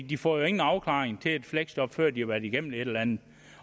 de får jo ingen afklaring til et fleksjob før de har været igennem et eller andet